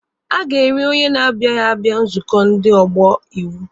A ga-eri onye na-agaghị abịa nzukọ ndị ọgbọ iwu.